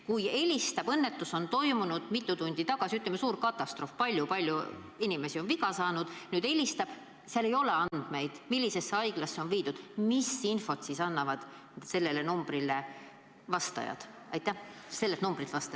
Kui keegi helistab, sest mitu tundi tagasi on toimunud õnnetus – näiteks suur katastroof, palju inimesi on viga saanud –, aga süsteemis ei ole andmeid, millisesse haiglasse inimene on viidud, siis millist infot sellelt numbrilt vastajad helistajale annavad?